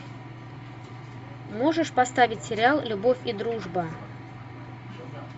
можешь поставить сериал любовь и дружба